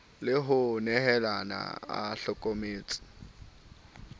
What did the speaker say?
le ho nehalana a hlokometse